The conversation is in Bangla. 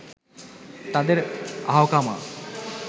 তাদের আহকামা